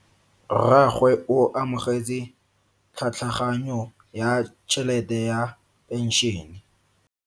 Rragwe o amogetse tlhatlhaganyo ya tšhelete ya phenšene.